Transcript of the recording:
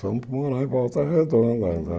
Fomos morar em Volta Redonda.